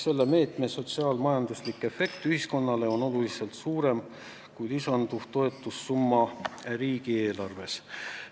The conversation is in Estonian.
Selle meetme sotsiaal-majanduslik efekt ühiskonnale on oluliselt suurem kui lisanduv toetussumma riigieelarvest.